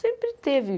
Sempre teve.